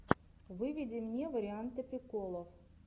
выведи мне варианты приколов